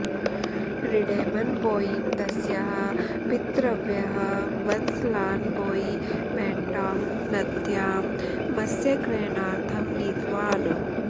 रिडैमन् बोयीं तस्याः पितृव्यः वन्सलान् बोयी मैण्टाङ्ग् नद्यां मस्यग्रहणार्थं नीतवान्